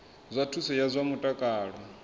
zwa thuso ya zwa mutakalo